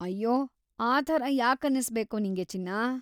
ಅಯ್ಯೋ, ಆ ಥರ ಯಾಕನ್ನಿಸ್ಬೇಕೋ ನಿಂಗೆ ಚಿನ್ನಾ?